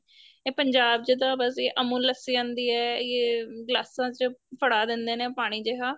ਇਹ ਪੰਜਾਬ ਚ ਤਾਂ ਬੱਸ ਇਹ ਅਮੁਲ ਲੱਸੀ ਆਂਦੀ ਏ ਗਲਾਸਾ ਚ ਫੜਾ ਦਿੰਦੇ ਨੇ ਪਾਣੀ ਜਿਹਾ